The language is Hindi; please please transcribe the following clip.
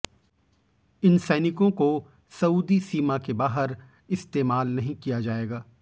इन सैनिकों को सऊदी सीमा के बाहर इस्तेमाल नहीं किया जाएगा